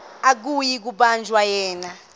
akuyi kubanjwa yena